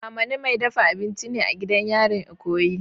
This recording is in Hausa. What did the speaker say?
Amani mai dafa abinci ne a gidan yarin ikoyi.